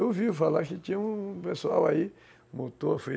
Eu ouvi falar que tinha um pessoal aí, motor